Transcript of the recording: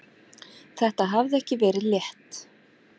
Þetta hafði ekki verið létt.